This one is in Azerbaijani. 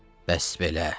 Bəs belə!